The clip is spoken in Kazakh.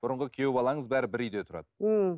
бұрынғы күйеу балаңыз бәрі бір үйде тұрады ммм